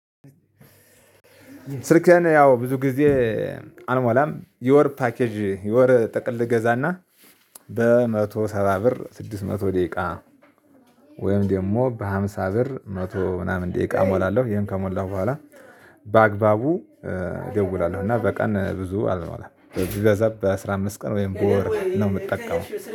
ስልክህን ያው ብዙ ጊዜ አልሞላም የወር ፓኬጅ የወር ጠቅል እገዛና በመቶ ሰባ ብር ስድስት መቶ ደቂቃ። ወይም ደግሞ በሃምሳ ብር መቶ ምናምን ደቂቃ እሞላለሁ። ይሄን ከሞላሁ በኋላ በአግባቡ እደውላለሁ። እና በቀን ብዙ አወራም ቢበዛ በአሥራ አምስት ቀን ወይም በወር ነው የምጠቀመው።